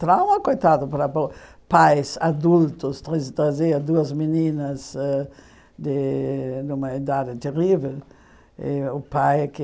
Trauma, coitado, para pô pais adultos, trazer duas meninas ãh de uma idade terrível, o pai que